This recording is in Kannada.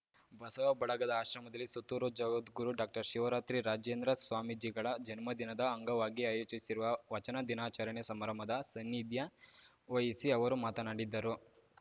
ಬಸವ ಬಳಗದ ಆಶ್ರಮದಲ್ಲಿ ಸುತ್ತೂರು ಜಗದ್ಗುರು ಡಾಕ್ಟರ್ಶಿವರಾತ್ರಿ ರಾಜೇಂದ್ರ ಸ್ವಾಮೀಜಿಗಳ ಜನ್ಮದಿನದ ಅಂಗವಾಗಿ ಆಯೋಜಿಸಿರುವ ವಚನ ದಿನಾಚರಣೆ ಸಮಾರಂಭದ ಸನ್ನಿಧ್ಯ ವಹಿಸಿ ಅವರು ಮಾತನಾಡಿದರು